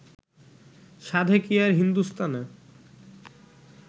সাধে কি আর হিন্দুস্থানে